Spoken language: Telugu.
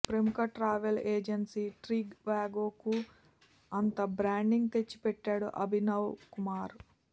ప్రముఖ ట్రావెల్ ఏజెన్సీ ట్రివాగోకు అంత బ్రాండింగ్ తెచ్చిపెట్టాడు అభినవ్ కుమార్